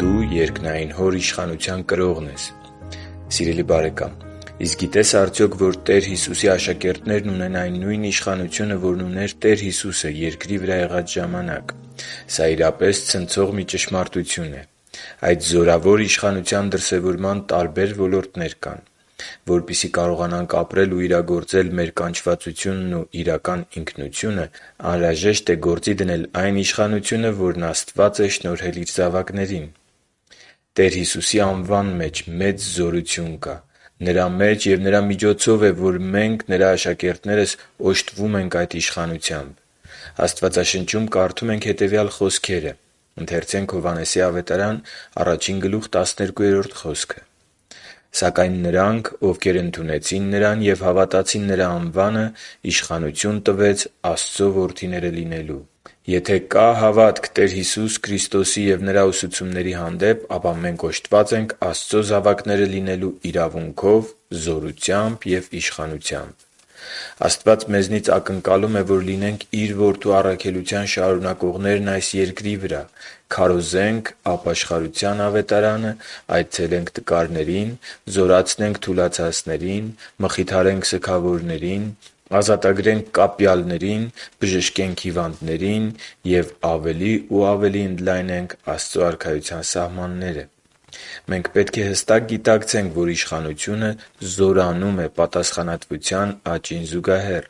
Դու երկնային Հոր իշխանության կրողն ես Սիրելի՛ բարեկամ, իսկ գիտե՞ս արդյոք, որ Տեր Հիսուսի աշակերտներն ունեն այն նույն իշխանությունը, որն ուներ Տեր Հիսուսը երկրի վրա եղած ժամանակ։ Սա, իրապես, ցնցող մի ճշմարտություն է։ Այդ զորավոր իշխանության դրսևորման տարբեր ոլորտներ կան։ Որպեսզի կարողանանք ապրել ու իրագործել մեր կանչվածությունն ու իրական ինքնությունը, անհրաժեշտ է գործի դնել այն իշխանությունը, որն Աստված է շնորհել Իր զավակներին։ Տեր Հիսուսի անվան մեջ մեծ զորություն կա: Նրա մեջ ու Նրա միջոցով է, որ մենք՝ Նրա աշակերտներս, օժտվում ենք այդ իշխանությամբ։ Աստվածաշնչում կարդում ենք հետևյալ խոսքերը. «Սակայն նրանց, ովքեր ընդունեցին Նրան և հավատացին Նրա անվանը, իշխանություն տվեց Աստծու որդիները լինելու» (Հովհաննես 1․12)։ Եթե կա հավատք Տեր Հիսուսի Քրիստոսի և Նրա ուսուցումների հանդեպ, ապա մենք օժտված ենք Աստծո զավակները լինելու իրավունքով, զորությամբ և իշխանությամբ։ Աստված մեզնից ակնկալում է, որ լինենք Իր Որդու առաքելության շարունակողներն այս երկրի վրա՝ քարոզենք ապաշխարության Ավետարանը, այցելենք տկարներին, զորացնենք թուլացածներին, մխիթարենք սգավորներին, ազատագրենք կապյալներին, բժշկենք հիվանդներին և ավելի ու ավելի ընդլայնենք Աստծո Արքայության սահմանները։ Մենք պետք է հստակ գիտակցենք, որ Իշխանությունը զորանում է պատասխանատվության աճին զուգահեռ։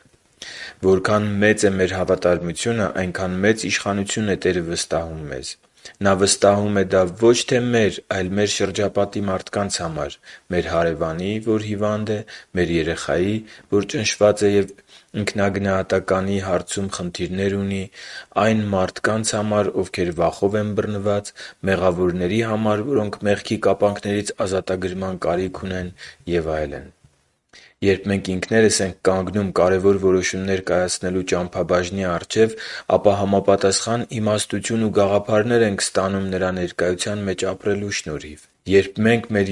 Որքան մեծ է մեր հավատարմությունը, այնքան մեծ իշխանություն է Տերը վստահում մեզ։ Նա վստահում է դա ոչ թե մեր, այլ մեր շրջապատի համար՝ մեր հարևանի, որ հիվանդ է, մեր երեխայի համար, որ ճնշված է և ինքնագնահատականի հարցում խնդիրներ ունի, այն մարդկանց համար, ովքեր վախով են բռնված, մեղավորների համար, որոնք մեղքի կապանքներից ազատագրման կարիք ունեն և այլն։ Երբ մենք ինքներս ենք կանգնում կարևոր որոշումներ կայացնելու ճամփաբաժնի առջև, ապա համապատասխան իմաստություն ու գաղափարներ ենք ստանում Նրա ներկայության մեջ ապրելու շնորհիվ։ Երբ մենք մեր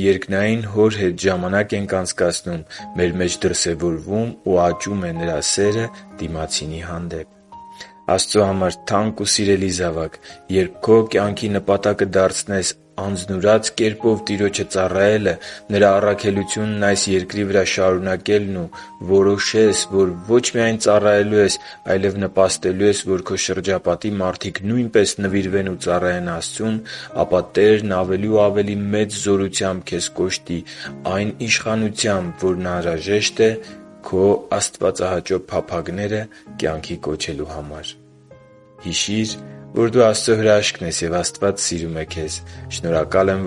Հոր հետ ժամանակ ենք անցկացնում, մեր մեջ դրսևորվում ու աճում է Նրա սերը դիմացինի հանդեպ։ Աստծո համար թանկ ու սիրելի՛ զավակ, երբ քո կյանքի նպատակը դարձնես անձնուրաց կերպով Տիրոջը ծառայելը, Նրա առաքելությունն այս երկրի վրա շարունակելն ու որոշես, որ ոչ միայն ծառայելու ես, այլև նպաստելու ես, որ քո շրջապատի մարդիկ նույնպես նվիրվեն ու ծառայեն Աստծուն, ապա Տերն ավելի ու ավելի մեծ զորությամբ քեզ կօժտի այն իշխանությամբ, որն անհրաժեշտ է քո աստվածահաճո փափագները կյանքի կոչելու համար։ Հիշի՛ր, որ դու Աստծո հրաշքն ես, և Աստված սիրում է քեզ։ Շնորհակալ եմ,